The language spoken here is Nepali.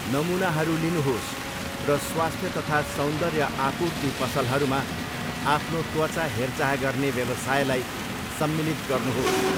नमुनाहरू लिनुहोस् र स्वास्थ्य तथा सौन्दर्य आपूर्ति पसलहरूमा आफ्नो त्वचा हेरचाह गर्ने व्यवसायलाई सम्मिलित गर्नुहोस्।